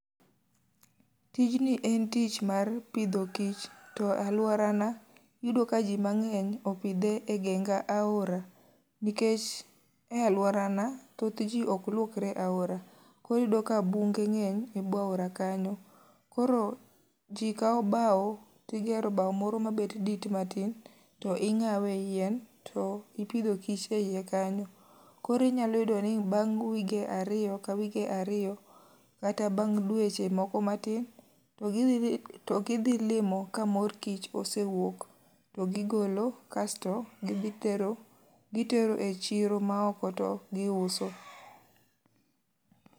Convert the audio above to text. Tijni en tich mar pidho kich to alworana iyudo ka ji mangény opidhe e geng aora. Nikech e alworana thoth ji ok lwokre e aora, koro iyudo ka bunge ngény e bwo aora kanyo. Koro ji kao bao tigero bao moro mabet dit matin, to ingáwe yien, to ipidho kich e iye kanyo. Koro inyalo yudo ni bang' wige ariyo ka wige ariyo kata bang' dweche moko matin to gidhi limo ka mor kich osewuok, to gi gigolo kasto gidhi tero, gitero e chiro ma oko to gi uso.